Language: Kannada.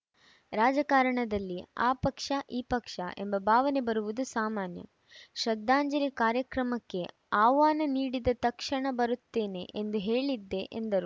ರಾಜಕಾರಣದಲ್ಲಿ ಆ ಪಕ್ಷ ಈ ಪಕ್ಷ ಎಂಬ ಭಾವನೆ ಬರುವುದು ಸಾಮಾನ್ಯ ಶ್ರದ್ಧಾಂಜಲಿ ಕಾರ್ಯಕ್ರಮಕ್ಕೆ ಆಹ್ವಾನ ನೀಡಿದ ತಕ್ಷಣ ಬರುತ್ತೇನೆ ಎಂದು ಹೇಳಿದ್ದೆ ಎಂದರು